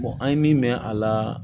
an ye min mɛn a la